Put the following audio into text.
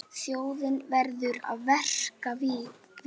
Þjóðin verður að vera virk.